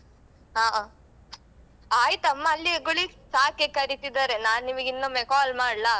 ಹ ಆಯ್ತು ಅಮ್ಮ ಅಲ್ಲಿಯೇ ಚಾಕ್ಕೆ ಕರೀತಿದಾರೆ ನಾನ್ ನಿಮಗೆ ಇನ್ನೊಮ್ಮೆ ಕಾಲ್ ಮಾಡ್ಲಾ?